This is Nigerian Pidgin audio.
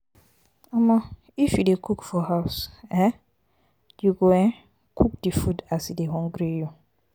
um if you dey cook for house um you go cook um di food as e dey hungry you.